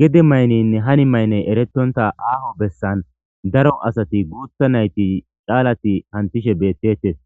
Gede mayniynne hani mayney eretonta aaho bessan daro asati guutha nayti caalati hantishe beettetes